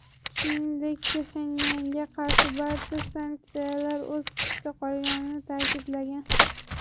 Shuningdek, Pxenyanga qarshi barcha sanksiyalar o‘z kuchida qolganini ta’kidlagan.